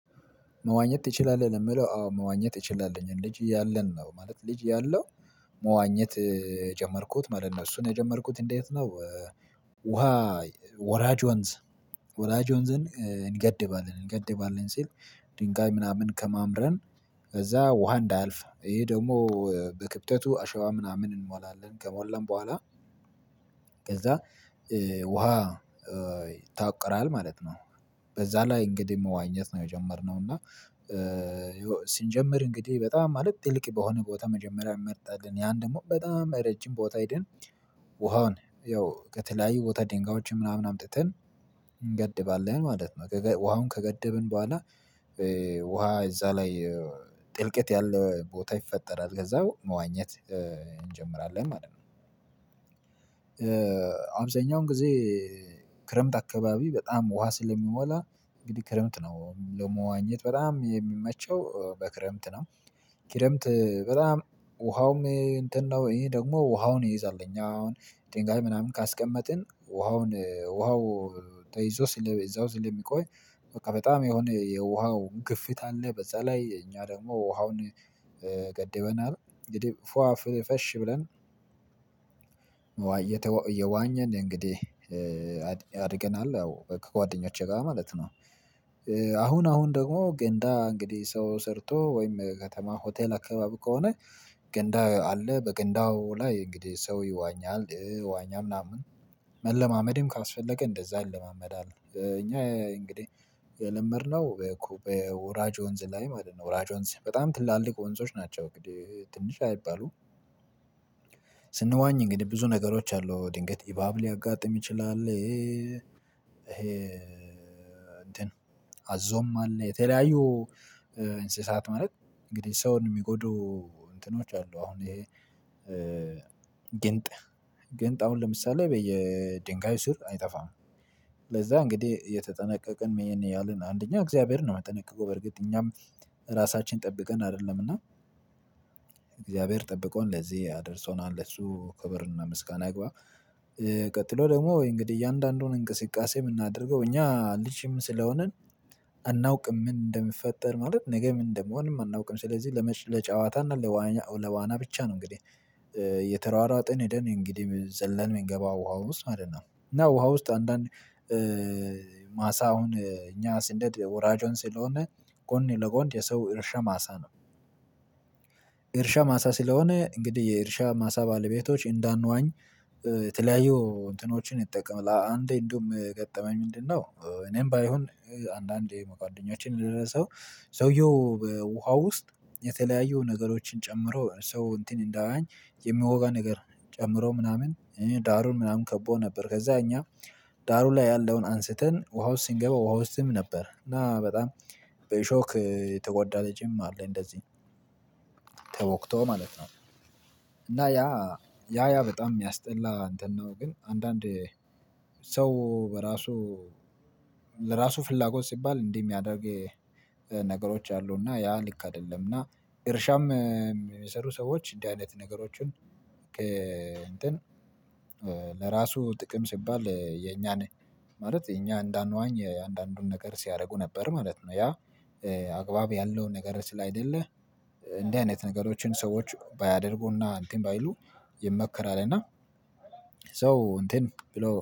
መዋኘት ትችላለህ? ነው ለምለው አዎ መዋኘት አችላለኝ ልጅ አያለን ነው ማለት ልጅ ያለው መዋኘት የጀመርኩት ማለት ነው እሱን የጀመርኩት እንዴት ነው? ውሃ ወራጅ ወንዝ ወራጅ ወንዝን እንገድባለን እንገድባለን ሲል ድንጋይ ምናምን ከማምረን እዛ ውሃ እንዳያልፍ ይሄ ደግሞ በክብጠቱ አሸዋ ምናምን እንሞላለን ከሞላን ቦኋላ ከዛ ውሃ ይታቆራል ማለት ነው። በዛ ላይ እንግዲህ መዋኘት ነው የጀመርነው እና ሲጀመር እንግዲህ በጣም ማለት ጥልቅ በሆነ ቦታ መጀመሪያ እንመርጣለን ያን ደግሞ በጣም ረጅም ቦታ ሄደን ውሃውን ያው ከተለያዩ ቦታ ድንጋዮችን ምናምን አምጥተን እንገድባለን ማለት ነው። ውሃውን ከገደብን ቦኋላ ውሃ እዛ ላይ ጥልቀት ያለ ቦታ ይፈጠራል ከዛ መዋኘት እንጀምራለን ማለት ነው። አብዛኛውን ጊዜ ክረምት አካባቢ በጣም ውሃ ስለሚሞላ እንግዲህ ክረምት ነው ለመዋኘት በጣም የሚመቸው በክረምት ነው ክረምት በጣም ውሃውም እንትን ነው ይሄ ደግሞ ውሃውን ይይዛል እኛ አሁን ጥንቃቄ ምናምን ካስቀመጥን ውሃውን ውሃው ተይዞ ስለ እዛው ስለሚቆይ በቃ በጣም የሆነ የውሃው ግፊት አለ በዛ ላይ እኛ ደግሞ ውሃውን ገደብናል እንግዲህ ፉአ ፍሽ ብለን እየዋኘን እንግዲህ አድርገናል ያው ከጓደኞቼ ጋር ማለት ነው። አሁን አሁን ደግሞ ገንዳ እንግዲህ ሰው ሰርቶ ወይም ከተማ ሆቴል አካባቢ ከሆነ ገንዳ አለ በገንዳው ላይ እንግዲህ ሰው ይዋኛል ዋኛ ምናምን መለማመድም ካስፈለገ እንደዛ ይለማመዳል። እኛ እንግዲህ የለመድነው ኩብ በወራጅ ወንዝ ላይ ማለት ነው ወራጅ ወንዝ በጣም ትላልቅ ወንዞች ናቸው አንግድህ ትንሽ አይባሉም። ስንዋኝ እንግዲህ ብዙ ነገሮች አሉ ድንገት አባብ ሊያጋጥም ይችላል ይሄ እንትን አዞም አለ የተለያዩ እንስሳት ማለት እንግዲህ ሰውን የሚጎዱ እንትኖች አሉ አሁን ይሄ ግንጥ ግንጥ አሁን ለምሳሌ በየድንጋይ ስር አይጠፋም። ለዛ እንግዲህ አየተጠነቀቅን ይሄን ያህልን አንደኛው እግዚአብሔርን ነው የምጠነቀቀው በርግጥ እኛም ራሳችንን ጠብቀን አይደለምና እግዚአብሔር ጠብቀውን ለዚህ አደርሰውናል ለሱ ክብርና ምስጋና ይግባ ቀጥሎ ደግሞ እንግዲህ እያንዳንዱን እንቅስቃሴ የምናደርገው እኛ ልጅም ስለሆንን አናውቅም ምን እንደምፈጠር ማለት ነገ ምን እንደምሆንም አናውቅም ስለዚህ ለጨዋታ እና ለዋና ብቻ ነው እንግዲህ አየተሯሯጠን ሄደን እንግዲህ ዘለን የምንገባ ውሃ ውስጥ ማለት ነው። እና ውሃ ውስጥ አንዳንድ ማሳ አሁን እኛ ስንሄድ ወራጅ ወንዝ ስለሆነ ጎን ለጎን የሰው እርሻ ማሳ ነው። እርሻ ማሳ ስለሆነ እንግዲህ የእርሻ ማሳ ባለቤቶች እንዳንዋኝ የተለያዩ እንትኖችን ይጠቀም አንዴ እንደውም የገጠመኝ ምንድነው እኔም ባይሆን አንዳንዴ መጓደኞቼ የደረሰው ሰውዬው በውሃ ውስጥ የተለያየው ነገሮችን ጨምሮ ሰው እንትን እንዳይዋኝ የምወጋው ነገር ጨምሮ ምናምን ዳሩን ምናምን ከቦ ነበር ከዛ እኛ ዳሩ ላይ ያለውን አንስተን ውሃ ውስጥ ሲንገባ ውሃ ውስጥም ነበር እና በጣም በአሾክ የተጎዳ ልጅም አለ እንደዚህ ተወግቶ ማለት ነው። እና ያ ያ በጣም የሚያስጠላ እንትን ነው ግን አንዳንዴ ሰው በራሱ ለራሱ ፍላጎት ሲባል እንዲህ የሚያደርግ ነገሮች አሉና ያ ልክ አይደለምና እርሻም የሚሰሩ ሰዎች እንዲህ አይነት ነገሮችን ከእንትን ለራሱ ጥቅም ሲባል የኛን ማለት የኛ እንዳንዋኝ አንዳንዱን ነገር ሲያረጉ ነበር ማለት ነው ያ አግባብ ያለውን ነገር ስላይደለ እዲህ አይነት ነገሮችን ሰዎች ባያደርጉና እንትን ባይሉ የመከራል እና ሶ እንትን ብሎ